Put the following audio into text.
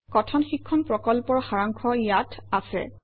কথন শিক্ষণ প্ৰকল্পৰ সাৰাংশ ইয়াত আছে